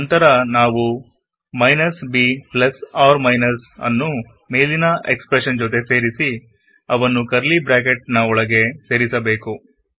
ನಂತರನಾವು minus b plus r ಮೈನಸ್ನ್ನು ಮೇಲಿನ expression ಜೊತೆ ಸೇರಿಸಿಅವನ್ನು ಕರ್ಲಿ ಬ್ರಾಕೆಟ್ ಗಳ ಒಳಗೆ ಸೇರಿಸ ಬೇಕು